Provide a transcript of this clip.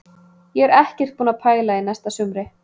Ég er ekkert búinn að pæla í næsta sumri.